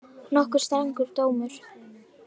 Nokkuð strangur dómur